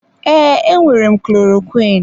Ee, enwere m klorokwiin.